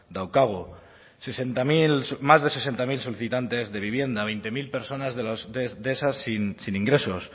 daukagu sesenta mil más de sesenta mil solicitantes de vivienda veinte mil personas de esas sin ingresos